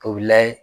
O bɛ layɛ